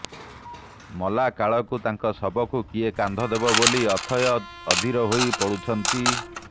ମଲା କାଳକୁ ତାଙ୍କ ଶବକୁ କିଏ କାନ୍ଧ ଦେବ ବୋଲି ଅଥୟ ଅଧିର ହୋଇ ପଡୁଛନ୍ତି